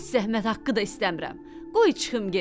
Heç zəhmət haqqı da istəmirəm, qoy çıxım gedim.